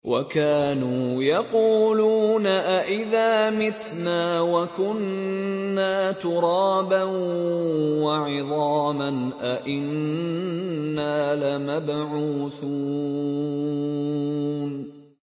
وَكَانُوا يَقُولُونَ أَئِذَا مِتْنَا وَكُنَّا تُرَابًا وَعِظَامًا أَإِنَّا لَمَبْعُوثُونَ